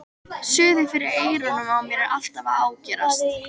Suðið fyrir eyrunum á mér er alltaf að ágerast.